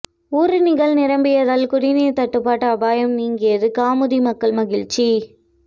ஊருணிகள் நிரம்பியதால் குடிநீர் தட்டுப்பாடு அபாயம் நீங்கியது கமுதி மக்கள் மகிழ்ச்சி